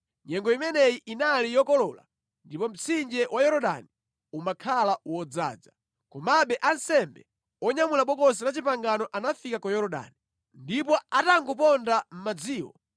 Nyengo imeneyi inali yokolola ndipo mtsinje wa Yorodani umakhala wodzaza. Komabe, ansembe onyamula Bokosi la Chipangano anafika ku Yorodani, ndipo atangoponda mʼmadzimo,